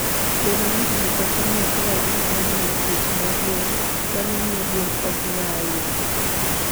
Bedo ni ji ok ong'eyo kaka ginyalo geng'o tuoche mag gwen, mano miyo gwen ok nya ahinya.